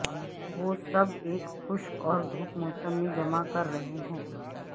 وہ سب ایک خشک اور دھوپ موسم میں جمع کر رہے ہیں